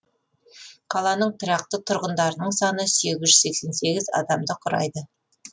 қаланың тұрақты тұрғындарының саны сегіз тжүз сексен сегіз адамды құрайды